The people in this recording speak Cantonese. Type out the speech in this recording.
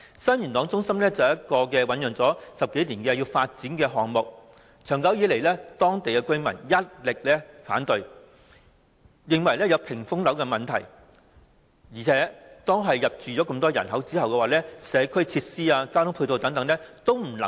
新元朗中心是一個醞釀了10多年的發展項目，長久以來，當區居民一直反對，認為有屏風樓問題，而且當大量人口入住後，社區設施和交通配套等均未能配合。